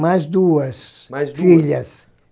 Mais duas, mais duas, filhas.